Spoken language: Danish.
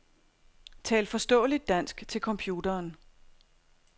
Tal forståeligt dansk til computeren.